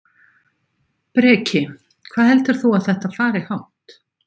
Breki: Hvað heldur þú að þetta fari hátt?